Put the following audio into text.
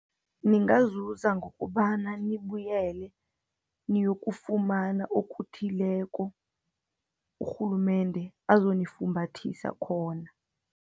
Ningazuza ngokobana nibuyele, niyokufumana okuthileko, urhulumende azonifumbathisa khona.